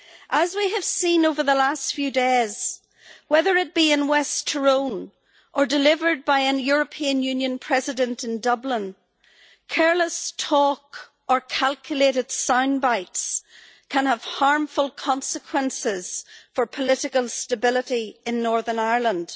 As we have seen over the last few days, whether it be in West Tyrone or delivered by a European Union President in Dublin, careless talk or calculated soundbites can have harmful consequences for political stability in Northern Ireland.